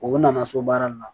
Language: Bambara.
O nana so baara nin na